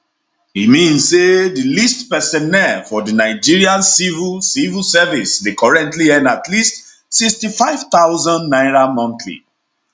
e mean say di least personnel for di nigeria civil civil service dey currently earn at least 65000 naira monthly